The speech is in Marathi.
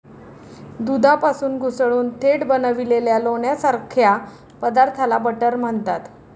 दुधापासून घुसळून थेट बनविलेल्या लोण्यासारख्या पदार्थाला बटर म्हणतात.